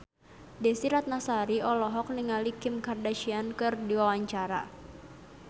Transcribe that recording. Desy Ratnasari olohok ningali Kim Kardashian keur diwawancara